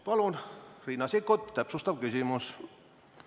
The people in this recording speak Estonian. Palun, Riina Sikkut, täpsustav küsimus!